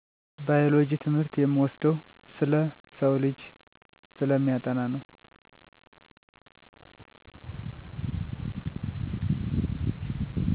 ባዮሎጂ ትምህርት የምወደው ስለ ሰውልጂ ስለሚያጠና ነው።